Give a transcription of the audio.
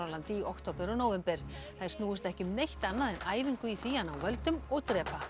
landi í október og nóvember þær snúist ekki um neitt annað en æfingu í því að ná völdum og drepa